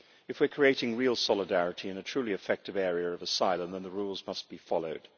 If we are creating real solidarity in a truly effective area of asylum, then the rules must be followed.